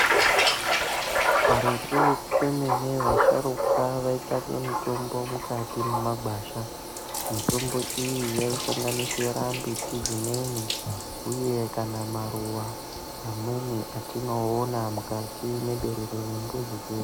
Karetu kwemene vasharukwa vaitsvake mitombo mukati memagwasha. Mitombo iyi yaisanganisira mbiti dzimweni uye kana maruva mamweni atinoona mukati meberere remizi dzedu.